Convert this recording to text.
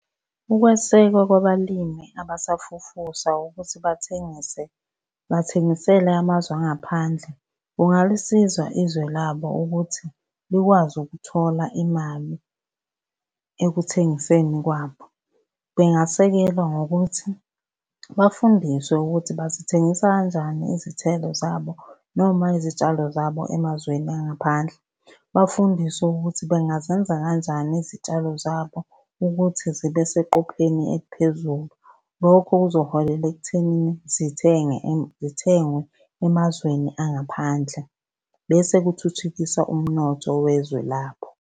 Ukwesekwa kwabalimi abasafufusa ukuthi bathengise bathengisele amazwe angaphandle kungalisiza izwe labo ukuthi likwazi ukuthola imali ekuthengiseni kwabo. Bengasekela ngokuthi bafundiswe ukuthi bazithengisa kanjani izithelo zabo noma izitshalo zabo emazweni angaphandle. Bafundiswe ukuthi bengazenza kanjani izitshalo zabo ukuthi zibe seqopheleni eliphezulu. Lokho kuzoholela ekuthenini zithenge zithengwe emazweni angaphandle, bese kuthuthukiswa umnotho wezwe labo.